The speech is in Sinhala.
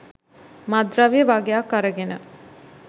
මත්ද්‍රව්‍ය වගයක් අරගෙන